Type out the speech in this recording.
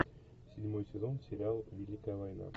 седьмой сезон сериала великая война